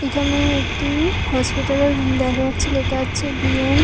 এখানে একটি হসপিটাল এর রুম দেখা যাচ্ছে লেখা আছে বি .এম. ।